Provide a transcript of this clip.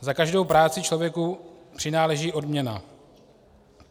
Za každou práci člověku přináleží odměny.